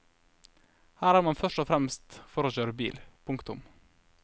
Her er man først og fremst for å kjøre bil. punktum